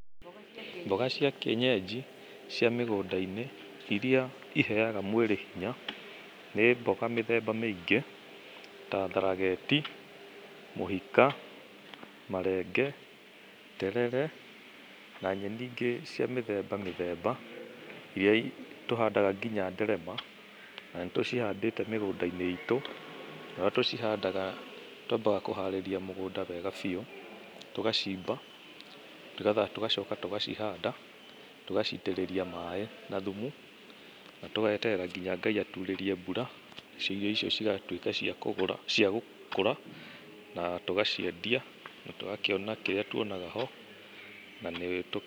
Mboga cia kĩenyenji, cia mĩgũnda-inĩ, irĩa iheaga mwĩrĩ hinya, nĩ mboga mĩthemba mĩingĩ, ta tharageti, mũhika, marenge, terere, na nyeni ingĩ cia mĩthemba mĩthemba irĩa tũhandaga nginya nderema, na nĩ tũcihandĩte mĩgũnda-inĩ itũ, na ũrĩa tũcihanda twambaga kũharĩria mũgũnda wega biũ. Tũgacimba, nĩgetha tũgacoka tũgacihanda, tũgacitĩrĩria maaĩ, na thumu, na tũgeterera nginya Ngai aturĩrie mbura, irio icio cigatuĩka cia kũgũra, cia gũkũra, na tũgaciendia, na tũgakĩona kĩrĩo tuonaga ho, na nĩ...